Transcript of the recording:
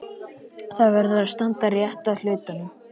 Það verður að standa rétt að hlutunum.